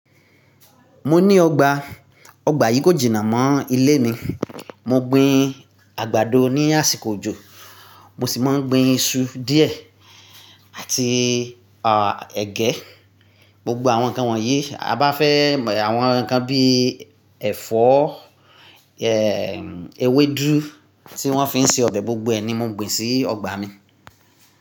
Mo ní ọgbà, ọgbà yìí kò jìnà mọ́ ilé mi. Mo gbin àgbàdo ní àsìkò òjò, mo sì máa ń gbin iṣu díẹ̀ àti, à, ẹ̀gẹ́. Gbogbo àwọn nǹkan wọ̀nyí, a bá fẹ́ mọ̀ àwọn nǹkan bí ẹ̀fọ́, e, ewédú tí wọ́n fi ń se ọbẹ̀, gbogbo ẹ̀ ni mo gbìn sí ọgbà mi.